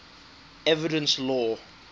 evidence law